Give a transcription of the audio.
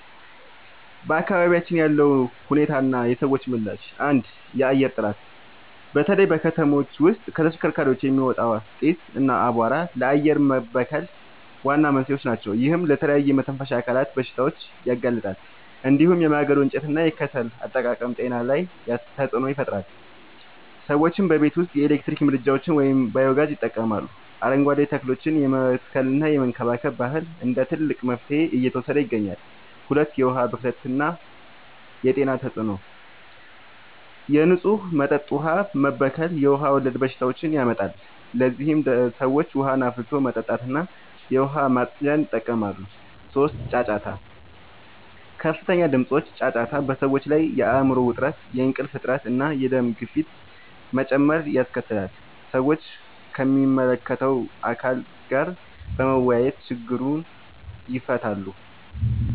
በአካባቢያችን ያለው ሁኔታና የሰዎች ምላሽ፦ 1. የአየር ጥራት፦ በተለይ ከተሞች ውስጥ ከተሽከርካሪዎች የሚወጣ ጢስ እና አቧራ ለአየር መበከል ዋና መንስኤዎች ናቸው። ይህም ለተለያዩ የመተንፈሻ አካላት በሽታዎች ያጋልጣል። እንዲሁም የማገዶ እንጨትና የከሰል አጠቃቀም ጤና ላይ ተጽዕኖ ይፈጥራል። ሰዎችም በቤት ውስጥ የኤሌክትሪክ ምድጃዎችን ወይም ባዮ-ጋዝ ይጠቀማሉ፣ አረንጓዴ ተክሎችን የመትከልና የመንከባከብ ባህል እንደ ትልቅ መፍትሄ እየተወሰደ ይገኛል። 2. የዉሀ ብክለት የጤና ተጽዕኖ፦ የንጹህ መጠጥ ውሃ መበከል የውሃ ወለድ በሽታዎችን ያመጣል። ለዚህም ሰዎች ውሃን አፍልቶ መጠጣትና የዉሃ ማፅጃን ይጠቀማሉ። 3. ጫጫታ፦ ከፍተኛ ድምጾች (ጫጫታ) በሰዎች ላይ የአይምሮ ዉጥረት፣ የእንቅልፍ እጥረት፣ እና የደም ግፊት መጨመር ያስከትላል። ሰዎችም ከሚመለከተዉ አካል ጋር በመወያየት ችግሩን ይፈታሉ።